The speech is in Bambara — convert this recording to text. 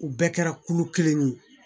U bɛɛ kɛra kulu kelen ye